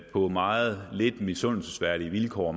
på meget lidt misundelsesværdige vilkår